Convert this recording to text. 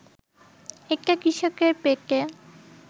এটা কৃষকের পেটে